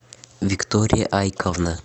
виктория айковна